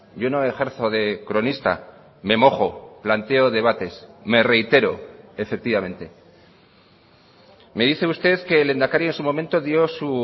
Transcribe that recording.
yo no ejerzo de cronista me mojo planteo debates me reitero efectivamente me dice usted que el lehendakari en su momento dio su